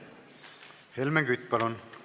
Helmen Kütt, palun!